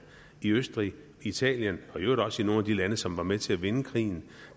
i østrig i italien og i øvrigt også i nogle af de lande som var med til at vinde krigen